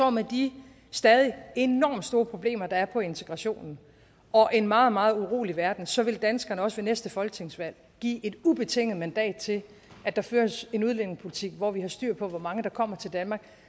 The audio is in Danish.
at med de stadig enormt store problemer der er på integrationen og en meget meget urolig verden så vil danskerne også ved næste folketingsvalg give et ubetinget mandat til at der føres en udlændingepolitik hvor vi har styr på hvor mange der kommer til danmark